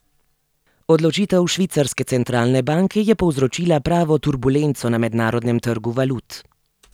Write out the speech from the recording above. Odločitev švicarske centralne banke je povzročila pravo turbulenco na mednarodnem trgu valut.